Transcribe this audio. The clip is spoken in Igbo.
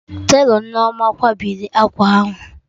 Telọ Nneoma kwabiri akwa ahụ o